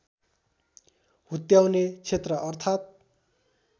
हुत्याउने क्षेत्र अर्थात्